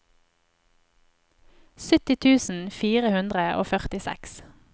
sytti tusen fire hundre og førtiseks